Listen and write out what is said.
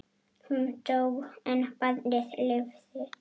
Hún dó en barnið lifði.